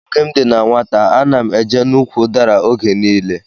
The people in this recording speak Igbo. Oge m dị na nwata, ana m eje n'úkwù udara oge nile.